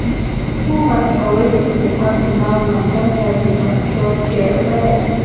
to de put mind for wetin de happen now now don help me control fear well